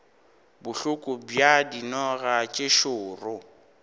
bohloko bja dinoga tše šoro